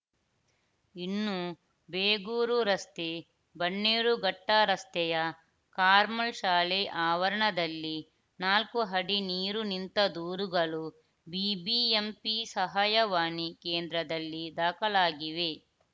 ಇನ್ನು ಬೇಗೂರು ರಸ್ತೆ ಬನ್ನೇರುಘಟ್ಟರಸ್ತೆಯ ಕಾರ್ಮಲ್‌ ಶಾಲೆ ಆವರಣದಲ್ಲಿ ನಾಲ್ಕು ಅಡಿ ನೀರು ನಿಂತ ದೂರುಗಳು ಬಿಬಿಎಂಪಿ ಸಹಾಯವಾಣಿ ಕೇಂದ್ರದಲ್ಲಿ ದಾಖಲಾಗಿವೆ